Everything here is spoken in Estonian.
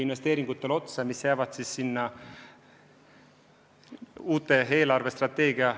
Palun, Krista Aru!